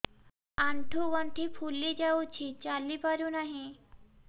ଆଂଠୁ ଗଂଠି ଫୁଲି ଯାଉଛି ଚାଲି ପାରୁ ନାହିଁ